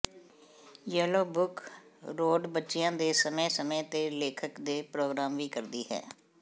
yellow book road ਬੱਚਿਆਂ ਦੇ ਸਮੇਂ ਸਮੇਂ ਤੇ ਲੇਖਕ ਦੇ ਪ੍ਰੋਗਰਾਮ ਵੀ ਕਰਦੀ ਹੈ